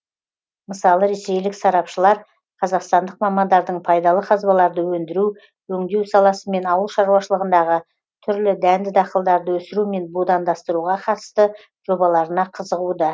мысалы ресейлік сарапшылар қазақстандық мамандардың пайдалы қазбаларды өндіру өңдеу саласы мен ауыл шаруашылығындағы түрлі дәнді дақылдарды өсіру мен будандастыруға қатысты жобаларына қызығуда